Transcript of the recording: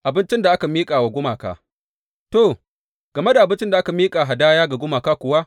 Abincin da aka miƙa wa gumaka To, game da abincin da aka miƙa hadaya ga gumaka kuwa.